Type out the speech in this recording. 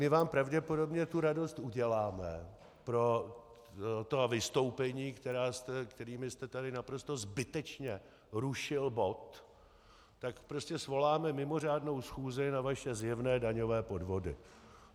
My vám pravděpodobně tu radost uděláme, pro ta vystoupení, kterými jste tady naprosto zbytečně rušil bod, tak prostě svoláme mimořádnou schůzi na vaše zjevné daňové podvody.